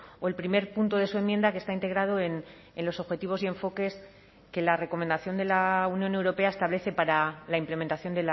o el primer punto de su enmienda que está integrado en los objetivos y enfoques que la recomendación de la unión europea establece para la implementación